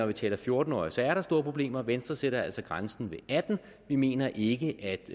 vi taler fjorten årige så er der store problemer venstre sætter altså grænsen ved atten år vi mener ikke